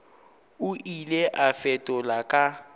o ile a fetola ka